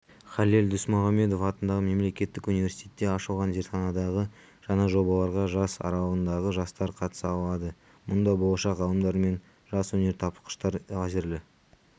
халел досмұхамедов атындағы мемлекеттік университетте ашылған зертханадағы жаңа жобаларға жас аралығындағы жастар қатыса алады мұнда болашақ ғалымдар мен жас өнертапқыштар лазерлі